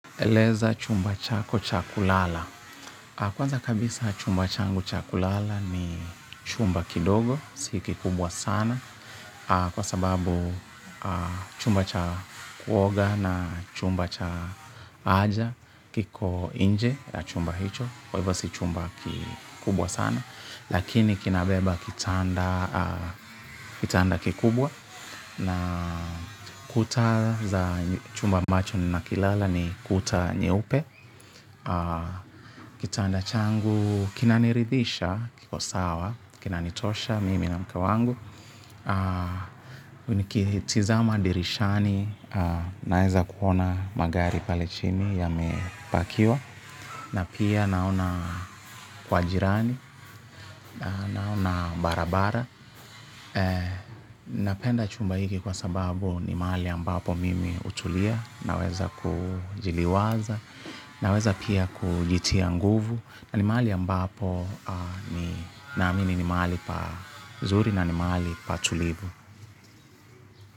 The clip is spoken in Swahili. Eleza chumba chako cha kulala. Kwanza kabisa chumba changu cha kulala ni chumba kidogo. Si kikubwa sana. Kwa sababu chumba cha kuoga na chumba cha haja kiko nje ya chumba hicho. Kwa hivyo si chumba kikubwa sana. Lakini kinabeba kitanda kikubwa. Na kuta za chumba ambacho ninakilala ni kuta nyeupe. Kitanda changu, kinaniridhisha, kiko sawa, kinanitosha mimi na mke wangu nikitizama dirishani, naeza kuona magari pale chini yamepakiwa. Na pia naona kwa jirani, naona barabara. Napenda chumba hiki kwa sababu ni mahali ambapo mimi hutulia. Naweza kujiliwaza, naweza pia kulitia nguvu. Na ni mahali ambapo ni naamini ni mahali pazuri na ni mahali patulivu.